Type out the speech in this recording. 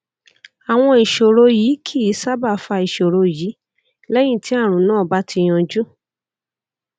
àwọn ìṣòro yìí kì í sábà fa ìṣòro yìí lẹyìn tí àrùn náà bá ti yanjú